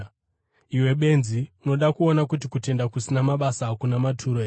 Iwe benzi, unoda kuona kuti kutenda kusina mabasa hakuna maturo here?